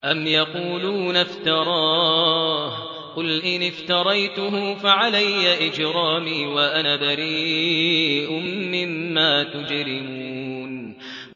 أَمْ يَقُولُونَ افْتَرَاهُ ۖ قُلْ إِنِ افْتَرَيْتُهُ فَعَلَيَّ إِجْرَامِي وَأَنَا بَرِيءٌ مِّمَّا تُجْرِمُونَ